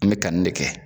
An bɛ kanni de kɛ